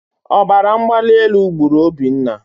Ọbaramgbalielu gburu Obinna.